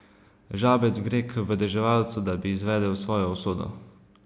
Žabec gre k vedeževalcu, da bi izvedel svojo usodo.